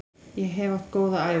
Ég hef átt góða ævi.